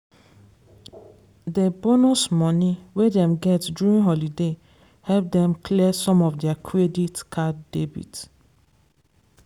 dey bonus money wey dem get during holiday help dem clear some of their credit card debit